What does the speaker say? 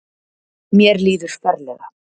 Mér líður ferlega.